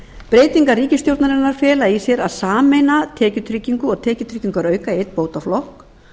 breytingar ríkisstjórnarinnar fela í sér að sameina tekjutryggingu og tekjutryggingarauka í einn bótaflokk